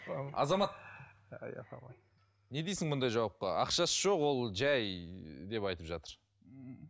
азамат не дейсің мұндай жауапқа ақшасы жоқ ол жай деп айтып жатыр